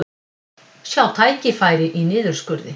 Sjá tækifæri í niðurskurði